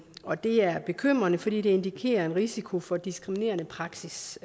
og det er bekymrende fordi det indikerer en risiko for diskriminerende praksis